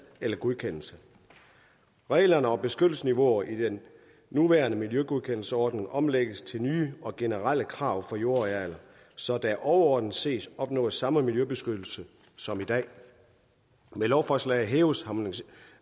eller godkendelse reglerne om beskyttelsesniveauer i den nuværende miljøgodkendelsesordning omlægges til nye og generelle krav for jordarealer så der overordnet set opnås samme miljøbeskyttelse som i dag med lovforslaget hæves